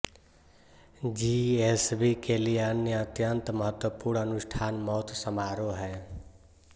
GSB के लिए अन्य अत्यंत महत्वपूर्ण अनुष्ठान मौत समारोह हैं